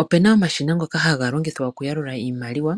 Opuna omashina ngoka haga longithwa oku yalula iimaliwa,